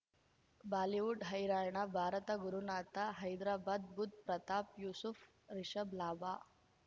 Bollywood ಹೈರಾಣ ಭಾರತ ಗುರುನಾಥ ಹೈದರಾಬಾದ್ ಬುಧ್ ಪ್ರತಾಪ್ ಯೂಸುಫ್ ರಿಷಬ್ ಲಾಭ